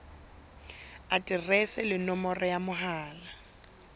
aterese le nomoro ya mohala